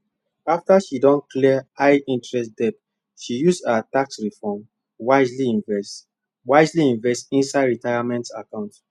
after she don clear highinterest debt she use her tax refund wisely invest wisely invest inside retirement account